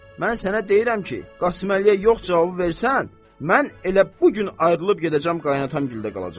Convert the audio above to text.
mən sənə deyirəm ki, Qasıməliyə yox cavabı versən, mən elə bu gün ayrılıb gedəcəm qaynatam güldə qalacam.